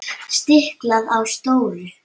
Stiklað á stóru